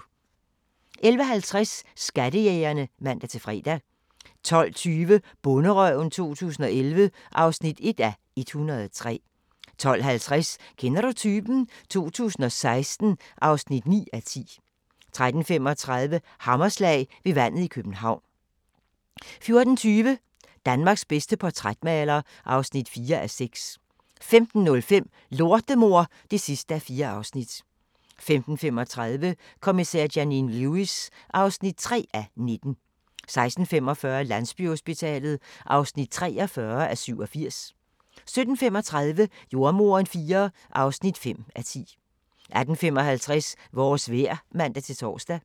11:50: Skattejægerne (man-fre) 12:20: Bonderøven 2011 (1:103) 12:50: Kender du typen? 2016 (9:10) 13:35: Hammerslag – ved vandet i København 14:20: Danmarks bedste portrætmaler (4:6) 15:05: Lortemor (4:4) 15:35: Kommissær Janine Lewis (3:19) 16:45: Landsbyhospitalet (43:87) 17:35: Jordemoderen IV (5:10) 18:55: Vores vejr (man-tor)